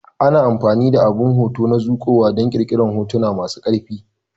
Ana amfani da abin hoto na zuƙowa don ƙirƙirar hotuna masu ƙarfi.